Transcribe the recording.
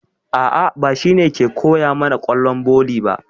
A'a, ba shi ne ke koya mana ƙwallon volley ba.